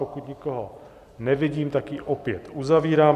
Pokud nikoho nevidím, tak ji opět uzavírám.